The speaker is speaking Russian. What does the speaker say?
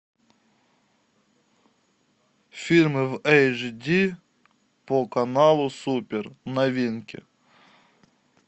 фильмы в эйч ди по каналу супер новинки